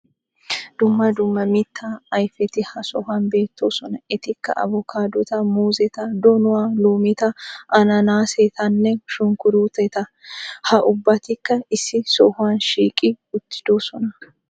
dumma dumma mittaa ayfeti ha sohuwan beettoosona. etikka abokkaadota, muuzzeta, donuwa, loometta, ananaasetanne shunkuruutetta. ha ubbatikka issi sohuwan shiiqqi uttidosona.